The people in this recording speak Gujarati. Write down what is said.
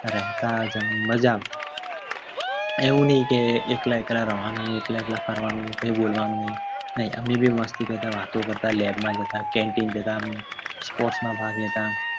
રહેતા માજા માં એવું નહિ કે એકલા રહેવાનું ને એકલા એકલા ફરવાનું બોલવાનું નહિ ભાગ લેતા